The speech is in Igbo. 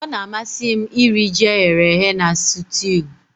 Ọ na-amasị m iri ji eghere eghe na sutiu